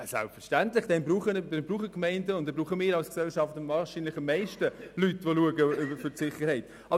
Selbstverständlich brauchen die Gemeinden und wir als Gesellschaft wahrscheinlich dann am meisten Leute, die für die Sicherheit schauen.